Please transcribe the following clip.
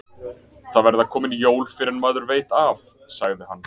Það verða komin jól fyrr en maður veit af, sagði hann.